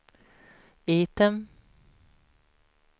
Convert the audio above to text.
item